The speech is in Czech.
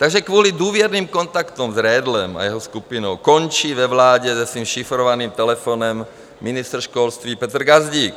Takže kvůli důvěrným kontaktům s Redlem a jeho skupinou končí ve vládě se svým šifrovaným telefonem ministr školství Petr Gazdík.